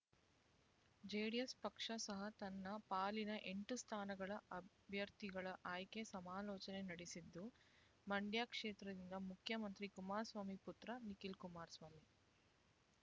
JDS ಪಕ್ಷ ಸಹ ತನ್ನ ಪಾಲಿನ ಎಂಟು ಸ್ಥಾನಗಳ ಅಭ್ಯರ್ಥಿಗಳ ಆಯ್ಕೆಗೆ ಸಮಾಲೋಚನೆ ನಡೆಸಿದ್ದು ಮಂಡ್ಯ ಕ್ಷೇತ್ರದಿಂದ ಮುಖ್ಯಮಂತ್ರಿ ಕುಮಾರಸ್ವಾಮಿ ಪುತ್ರ ನಿಖಿಲ್ ಕುಮಾರಸ್ವಾಮಿ